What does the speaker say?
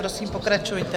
Prosím, pokračujte.